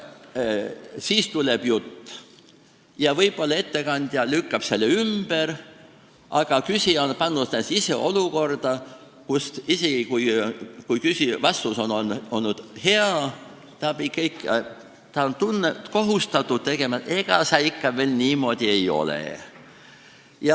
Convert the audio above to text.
" Ja siis tuleb jutt, mille ettekandja võib-olla ümber lükkab, aga küsija on pannud ennast ise olukorda, kus isegi siis, kui vastus on hea, on ta ikka kohustatud ütlema, et ega see niimoodi ei ole.